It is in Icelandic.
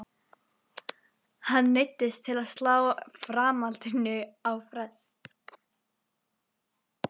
Hann neyddist til að slá framhaldinu á frest.